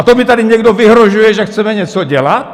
A to mi tady někdo vyhrožuje, že chceme něco dělat?